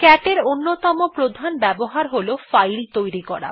cat এর অন্যতম প্রধান ব্যবহার হল ফাইল তৈরি করা